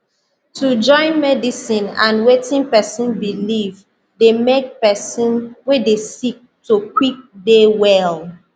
to join medicine and wetin pesin believe dey make pesin wey dey sick to quick dey well